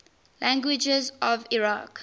languages of iraq